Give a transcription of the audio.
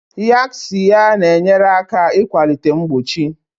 Yaxiya na-enyere aka ịkwalite mgbochi.